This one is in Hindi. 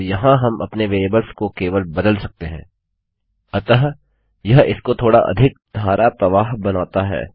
फिर यहाँ हम अपने वेरिएबल्स को केवल बदल सकते हैं अतः यह इसको थोड़ा अधिक धाराप्रवाह बनाता है